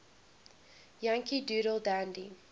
yankee doodle dandy